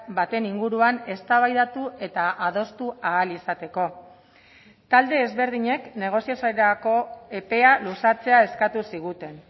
baten inguruan eztabaidatu eta adostu ahal izateko talde ezberdinek negoziaziorako epea luzatzea eskatu ziguten